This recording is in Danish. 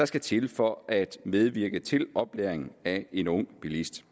skal til at for at medvirke til oplæringen af en ung bilist